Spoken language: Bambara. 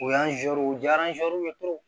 O y'an u jara